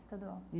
Estadual.